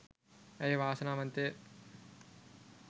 ඇය වාසනාවන්තය